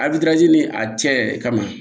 ni a cɛ yɛrɛ kama